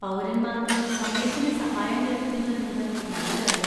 പൗരന്മാർക്ക് സമയത്തിന് സഹായം ലഭിക്കുന്നു എന്നത് നല്ല കാര്യം.